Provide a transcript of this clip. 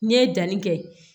N'i ye danni kɛ